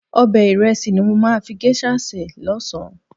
Ọbẹ̀ ìrẹsì ni mo máa fi géṣà sè lọ́sàn-án.